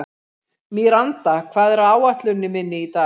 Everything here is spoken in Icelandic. Míranda, hvað er á áætluninni minni í dag?